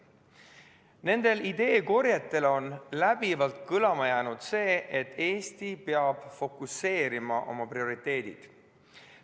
Nendel ideekorjetel on läbivalt kõlama jäänud see, et Eesti peab fokuseerima oma prioriteedid.